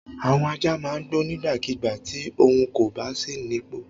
Àwọn ajá máa ń gbó nígbàkigbà tí ohun kò bá sí nípò.